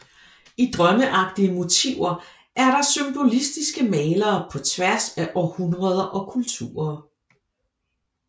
I drømmeagtige motiver er der symbolistiske malere på tværs af århundreder og kulturer